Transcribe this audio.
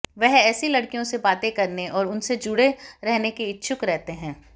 वह ऐसी लड़कियों से बातें करने और उनसे जुड़े रहने के इच्छुक रहते हैं